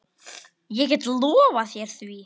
Ég get lofað þér því.